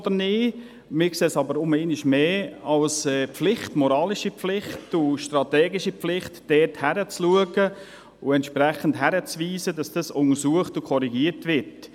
Wir sehen es aber einmal mehr als unsere moralische und strategische Pflicht, dort hinzuschauen und entsprechend darauf hinzuweisen, dass dies untersucht und korrigiert wird.